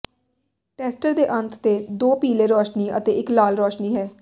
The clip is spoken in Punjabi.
ਟੈਸਟਰ ਦੇ ਅੰਤ ਤੇ ਦੋ ਪੀਲੇ ਰੌਸ਼ਨੀ ਅਤੇ ਇੱਕ ਲਾਲ ਰੋਸ਼ਨੀ ਹੈ